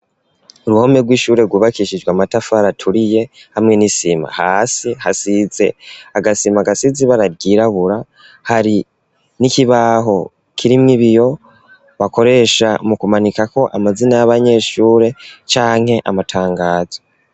Uruhome rw'ishure rwubakishijwe amatafari aturiye hamwe n'isima hasi hasize agasima gasize ibara ryirabura hari n'ikibaho kirimwo ibiyo bakoresha mu kumanikako amazina y'abanyeshure canke amatangazo.